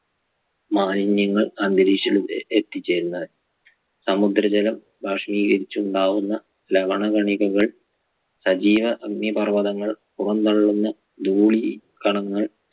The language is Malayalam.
മാലിന്യങ്ങൾ അന്തരീക്ഷത്തിൽ എത്തിച്ചേരുന്നത് സമുദ്രജലം ബാഷ്പീകരിച്ചുണ്ടാകുന്ന ലവണ കണികകൾ സജീവ അഗ്നിപർവതങ്ങൾ പുറന്തള്ളുന്ന ധൂളി കണങ്ങൾ